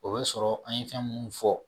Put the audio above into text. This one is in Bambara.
O be sɔrɔ an ye fɛn munnu fɔ